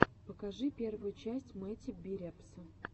покажи первую часть мэтти би репса